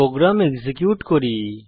programme execute করি